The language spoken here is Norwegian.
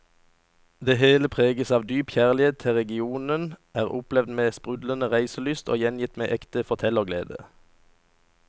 Det hele preges av dyp kjærlighet til regionen, er opplevd med sprudlende reiselyst og gjengitt med ekte fortellerglede.